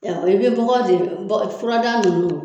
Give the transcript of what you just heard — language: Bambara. I bɛ bɔgɔ de bɔ fura daga ninnu